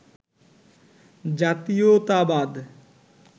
জাতীয়তাবাদ